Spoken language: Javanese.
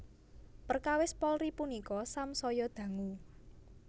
Perkawis Polri punika samsaya dangu